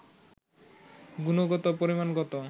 গুণগত ও পরিমাণগত